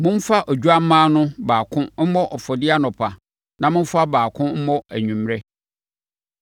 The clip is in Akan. Momfa odwammaa no baako mmɔ afɔdeɛ anɔpa na momfa baako mmɔ anwummerɛ.